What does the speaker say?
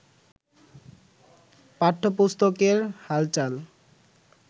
পাঠ্যপুস্তকের হালচাল